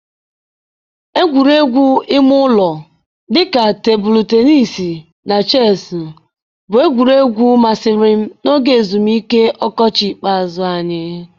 Egwuregwu ime ụlọ dị ka tebụlụ teniis na Chesụụ bụ egwuregwu masịrị m n'oge ezumike ọkọchị ikpeazụ anyị.